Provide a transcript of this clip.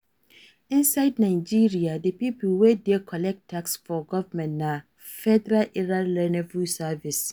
Inside Nigeria, di pipo wey dey collect tax for government na Federal Inland Revenue Service